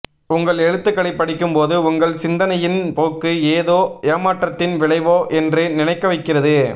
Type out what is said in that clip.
உங்கள் எழுத்துக்களைப் படிக்கும்போது உங்கள் சிந்தனையின் போக்கு ஏதோ ஏமாற்றத்தின் விளைவோ என்று நினைக்க வைக்கிறது